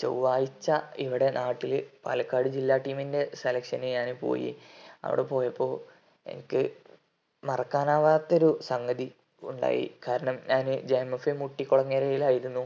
ചൊവ്വാഴ്ച ഇവിടെ നാട്ടില് പാലക്കാട് ജില്ലാ team ൻറെ selection ന് ഞാന് പോയി അവിടെ പോയപ്പോ എനിക്ക് മറക്കാനാവാത്ത ഒരു സംഗതി ഉണ്ടായി കാരണം ഞാന് JMFA മുട്ടികൊളങ്ങരയിലായിരുന്നു